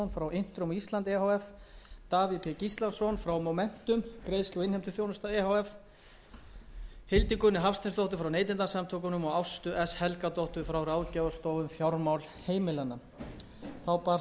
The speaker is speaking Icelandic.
á íslandi e h f davíð b gíslason frá momentum greiðslu og innheimtuþjónustu e h f hildigunni hafsteinsdóttur frá neytendasamtökunum og ástu s helgadóttur frá ráðgjafarstofu um fjármál heimilanna þá barst nefndinni skrifleg umsögn um